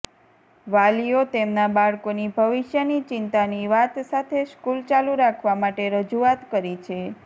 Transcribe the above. વાલીઓ તેમના બાળકોની ભવિષ્યની ચિંતાની વાત સાથે સ્કુલ ચાલુ રાખવા માટેે રજુઆત કરી છે